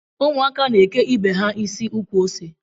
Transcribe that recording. Ụmụ ntakịrị n'eke ibe ha isi ukwuose